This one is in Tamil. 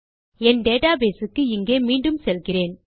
என் டேட்டாபேஸ் க்கு இங்கே மீண்டும் செல்கிறேன்